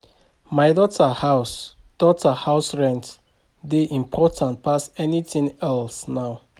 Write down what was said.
My daughter house daughter house rent dey important pass anything else now